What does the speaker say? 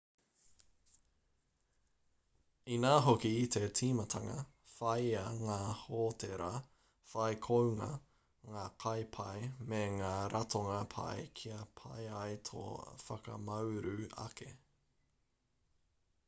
inā hoki i te tīmatanga whāia ngā hōtēra whai kounga ngā kai pai me ngā ratonga pai kia pai ai tō whakamauru ake